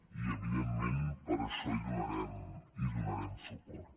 i evidentment per això hi donarem suport